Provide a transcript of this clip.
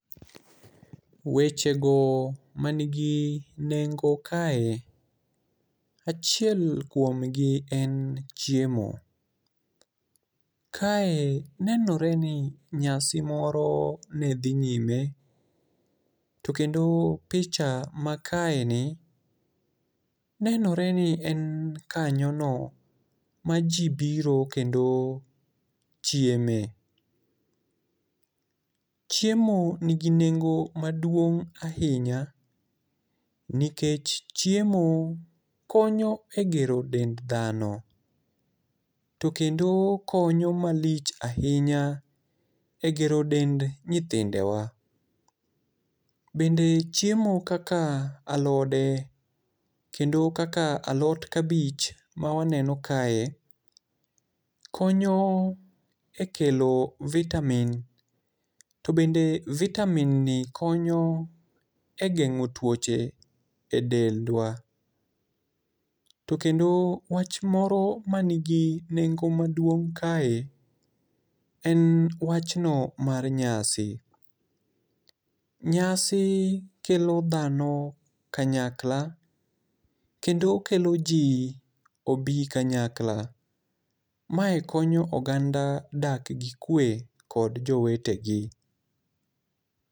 Wechego man gi nengo kae, achiel kuomgi en chiemo, kae nenore ni nyasi moro nedhi nyime to kendo picha makaeni nenore ni en kanyono maji biro kendo chieme. Chiemo nigi nengo maduong' ahinya nikech chiemo konyo e gero dend dhano to kendo konyo malich ahinya egero dend nyithindewa. To bende chiemo kaka alode kendo kaka alot kabich ma waneno kae konyo ekelo vitamins to bende vitamin ni konyo e geng'o tuoche e dendwa. To kendo wach moro mani gi nengo maduong' kae en wach no mar nyasi. Nyasi kelo dhano kanyakla kendo kelo ji obi kanyakla. Mae konyo oganda dak gi kwe kod jowetegi.